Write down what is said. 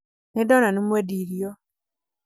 nindona nĩ mwendi irio